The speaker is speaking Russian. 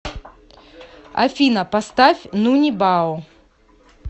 афина поставь нуни бао